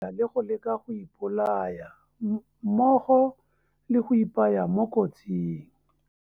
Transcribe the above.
Le go leka go ipolaya, mmogo le go ipaya mo kotsing.